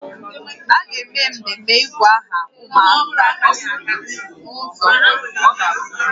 A ga-eme mmemme ịgụ aha ụmụaka n'ụzọ ọdịnaala